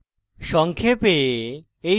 সংক্ষেপে